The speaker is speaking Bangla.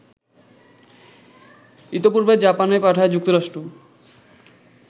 ইতপূর্বে জাপানে পাঠায় যুক্তরাষ্ট্র